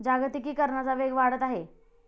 जागतिकरणाचा वेग वाढत आहे.